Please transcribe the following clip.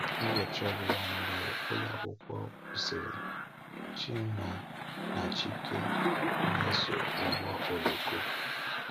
Ụbọchị ọ bụla mgbe ụlọakwụkwọ kwụsịrị, Chima na Chike na-eso ụgbọ oloko.